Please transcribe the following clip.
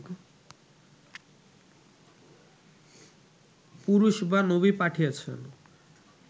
পুরুষ বা নবী পাঠিয়েছেন